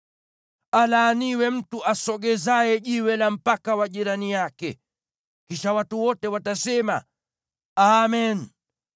“Alaaniwe mtu asogezaye jiwe la mpaka wa jirani yake.” Kisha watu wote watasema, “Amen!”